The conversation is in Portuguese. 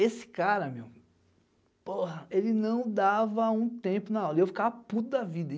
Esse cara, meu, porra, ele não dava um tempo na aula, e eu ficava puto da vida.